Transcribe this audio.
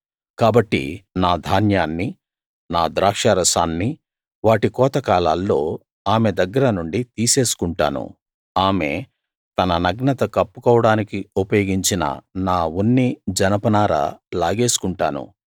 కాబట్టి నా ధాన్యాన్ని నా ద్రాక్షారసాన్ని వాటి కోత కాలాల్లో ఆమె దగ్గర నుండి తీసేసుకుంటాను ఆమె తన నగ్నత కప్పుకోవడానికి ఉపయోగించిన నా ఉన్ని జనపనార లాగేసుకుంటాను